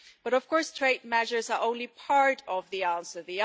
But of course, trade measures are only part of the answer.